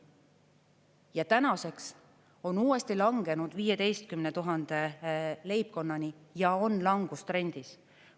Ja tänaseks on see uuesti langenud 15 000 leibkonnani ja on langustrendis.